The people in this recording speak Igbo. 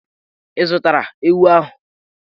Ị zụtala ewu ahụ?